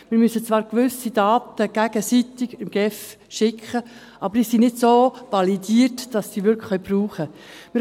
Wir müssen zwar gewisse Daten gegenseitig der GSI schicken, aber sie sind nicht so validiert, dass sie diese wirklich brauchen können.